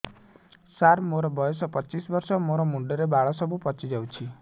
ସାର ମୋର ବୟସ ପଚିଶି ବର୍ଷ ମୋ ମୁଣ୍ଡରେ ବାଳ ସବୁ ପାଚି ଯାଉଛି